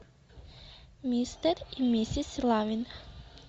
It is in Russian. мистер и миссис лавинг